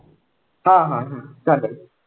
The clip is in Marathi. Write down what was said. हा हा हम्म चालेल.